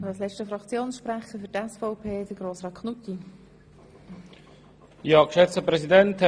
Als letzter Fraktionssprecher hat Grossrat Knutti für die SVP das Wort.